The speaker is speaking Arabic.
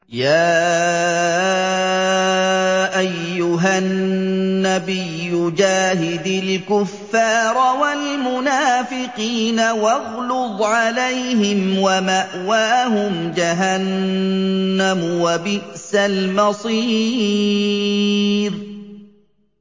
يَا أَيُّهَا النَّبِيُّ جَاهِدِ الْكُفَّارَ وَالْمُنَافِقِينَ وَاغْلُظْ عَلَيْهِمْ ۚ وَمَأْوَاهُمْ جَهَنَّمُ ۖ وَبِئْسَ الْمَصِيرُ